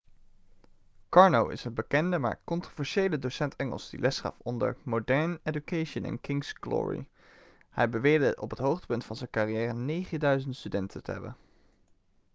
karno is een bekende maar controversiële docent engels die lesgaf onder modern education en king's glory hij beweerde op het hoogtepunt van zijn carrière 9.000 studenten te hebben